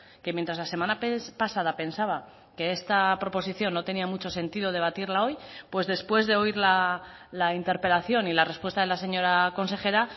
que mientras la semana pasada pensaba que esta proposición no tenía mucho sentido debatirla hoy pues después de oír la interpelación y la respuesta de la señora consejera